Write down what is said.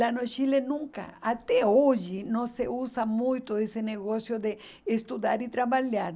Lá no Chile nunca, até hoje, não se usa muito esse negócio de estudar e trabalhar.